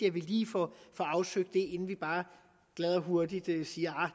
at vi lige får afsøgt det inden vi bare glad og hurtigt siger